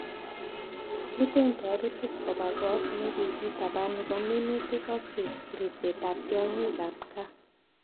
Iuten toritik koba got nekikitaban nebo minutik ak ribsetab tiongik ab gaa.